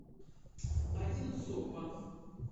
одинцово